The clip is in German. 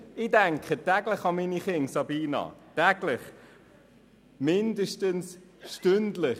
Und ich denke täglich an meine Kinder, Sabina Geissbühler, täglich, mindestens stündlich.